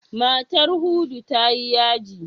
Matar Hudu ta yi yaji.